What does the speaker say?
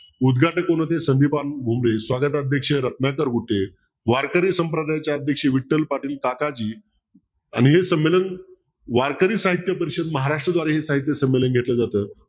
उदघाटक कोण होते स्वागताध्यक्ष रत्नाकर घुटे वारकरी संप्रदायाचे अध्यक्ष विठ्ठल पाटील काकाजी आणि हे संमेलन वारकरी साहित्य परिषद महाराष्ट्रद्वारे हे साहित्य संमेलन घेतलं जात